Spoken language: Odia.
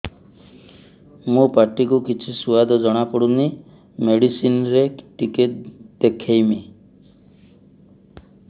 ମୋ ପାଟି କୁ କିଛି ସୁଆଦ ଜଣାପଡ଼ୁନି ମେଡିସିନ ରେ ଟିକେ ଦେଖେଇମି